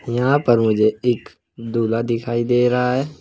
यहां पर मुझे एक दूल्हा दिखाई दे रहा है।